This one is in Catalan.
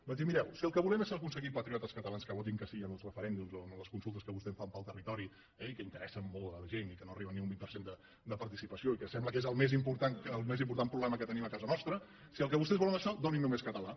vaig dir mireu si el que volem és aconseguir patriotes catalans que votin que sí en els referèndums o en les consultes que vostès fan pel territori eh i que interessen molt a la gent i que no arriben ni a un vint per cent de participació i que sembla que és el més important problema que tenim a casa nostra si el que vostès volen és això donin només català